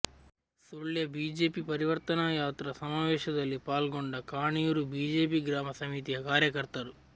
Sullia BJP ಪರಿವರ್ತನಾ ಯಾತ್ರಾ ಸಮಾವೇಶದಲ್ಲಿ ಪಾಲ್ಗೊಂಡ ಕಾಣಿಯೂರು ಬಿಜೆಪಿ ಗ್ರಾಮ ಸಮಿತಿಯ ಕಾರ್ಯಕರ್ತರು